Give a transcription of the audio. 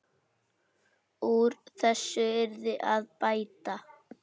Úr þessu yrði að bæta.